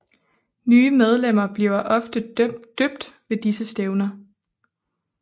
Nye medlemmer bliver ofte døbt ved disse stævner